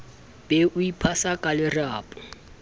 be o iphasa ka lerapo